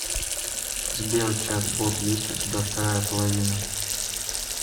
сбер чат бот есть у тебя вторая половина